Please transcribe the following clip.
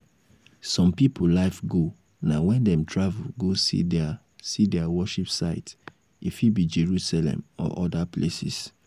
some pipo life goal na when dem travel go see their see their worship site e fit be jerusalem or oda places